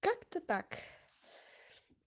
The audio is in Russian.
как-то так